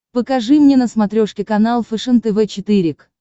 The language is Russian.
покажи мне на смотрешке канал фэшен тв четыре к